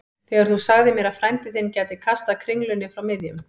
Þegar þú sagðir mér að frændi þinn gæti kastað kringlunni frá miðjum